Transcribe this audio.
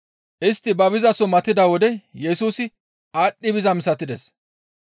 Istti ba bizaso matida wode Yesusi aadhdhi bizaa misatides.